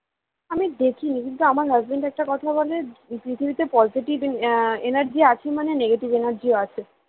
আমি দেখিনি কিন্তু আমার husband একটা কথা বলে যে পৃথিবীতে positive energy আছে মানে negative energy ও আছে